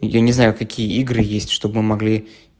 и я не знаю какие игры есть чтобы могли